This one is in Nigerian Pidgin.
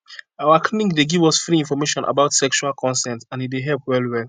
our clinic dey give us free information about sexual consent and e dey help well well